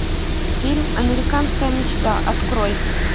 фильм американская мечта открой